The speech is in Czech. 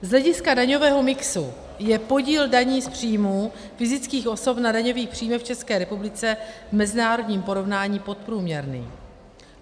Z hlediska daňového mixu je podíl daní z příjmu fyzických osob na daňových příjmech v České republice v mezinárodním porovnání podprůměrný.